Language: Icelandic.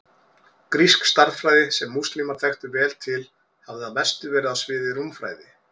Grísk stærðfræði, sem múslímar þekktu vel til, hafði að mestu verið á sviði rúmfræði.